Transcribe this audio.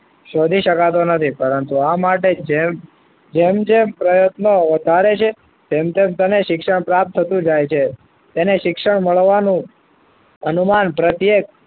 શોધી શકાતો નથી પરંતુ આ માટે જેમ જેમ પ્રયત્નો વધારે છે તેમ તેમ તેને શિક્ષણ પ્રાપ્ત થતું જાય છે તેને શિક્ષણ મળવાનું અનુમાન પ્રત્યેક